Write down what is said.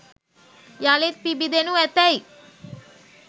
යළිත් පිබිදෙනු ඇතැයි